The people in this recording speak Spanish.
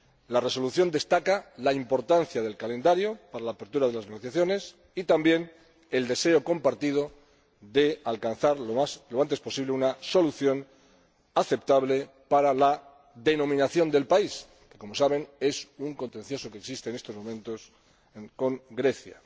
La Resolución destaca la importancia del calendario para la apertura de las negociaciones y, también, el deseo compartido de alcanzar lo antes posible una solución aceptable para la denominación del país, que, como saben, es un contencioso que existe en estos momentos con Grecia.